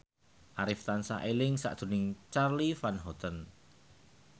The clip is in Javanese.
Arif tansah eling sakjroning Charly Van Houten